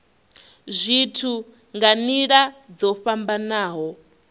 zwithu nga nila dzo fhambanaho